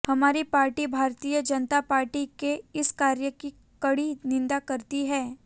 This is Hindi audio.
हमारी पार्टी भारतीय जनता पार्टी के इस कार्य की कड़ी निंदा करती है